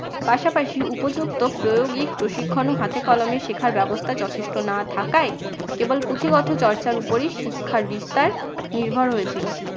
পাশাপাশি উপযুক্ত প্রয়োগিক প্রশিক্ষণও হাতে কলমে শেখার ব্যবস্থা যথেষ্ট না থাকায় কেবল পুঁথিগত চর্চার উপরেই শিক্ষার বিস্তার নির্ভর হয়েছিল।